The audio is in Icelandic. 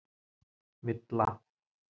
Villa